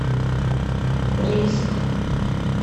риск